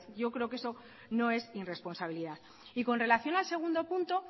yo creo que eso no es irresponsabilidad y con relación al segundo punto